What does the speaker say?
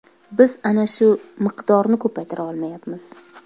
Biz ana shu miqdorni ko‘paytira olmayapmiz.